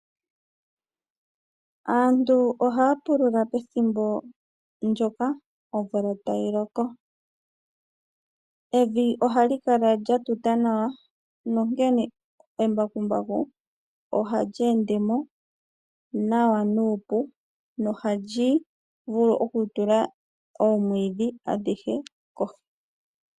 Aantu ohaya pulula pethimbo lyoka omvula tayi loko, evi ohali kala lyatuta nawa onkene embakumbaku ohali ende mo nawa nuupu nohali vulu oku tula oomwiidhi adhihe kohi.